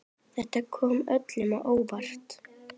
Þetta kom öllum á óvart.